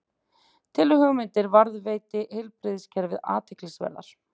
Telur hugmyndir varðandi heilbrigðiskerfið athyglisverðar